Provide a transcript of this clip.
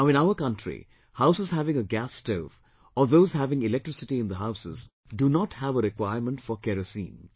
Now in our country houses having a gas stove, or those having electricity in the houses do not have a requirement for Kerosene